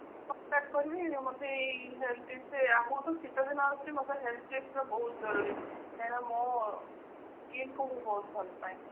contact କରିବି ମୋତେ ଏଇ health tips ରେ ଆଗକୁ ତ ଶିତ ଦିନ ଆସୁଛି ମୋତେ health tips ର ବହୁତ ଜରୁରୀ କାହିଁକି ନା ମୋ skin କୁ ବହୁତ ଭଲ ପାଏ।